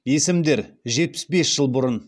есімдер жетпіс бес жыл бұрын